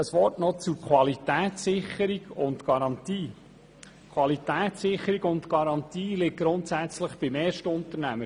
Ein Wort noch zur Qualitätssicherung und zur Garantie: Qualitätssicherung und Garantie liegen grundsätzlich beim Erstunternehmer.